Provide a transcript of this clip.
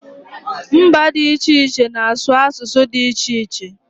Mba dị iche iche na asụ asụsụ dị iche iche